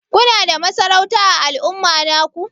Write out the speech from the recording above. Kuna da masarauta ã al'umma naku?